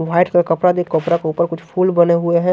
White का कपड़ा देख कपड़ा के ऊपर कुछ फूल बने हुए हैं।